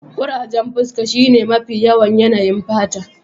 Kurajen fuska shine mafi yawan yanayin fata